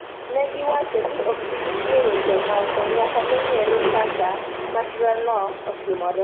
Ne giwacho ni ok gibi chiwo weche moko nyaka nong'ere kaka masirano otimore.